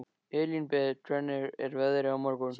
Elínbet, hvernig er veðrið á morgun?